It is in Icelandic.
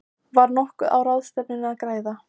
Var nokkuð á ráðstefnunni að græða?